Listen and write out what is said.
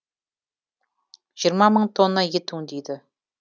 жиырма мың тонна ет өңдейді